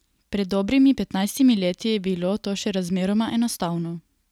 Pred dobrimi petnajstimi leti je bilo to še razmeroma enostavno.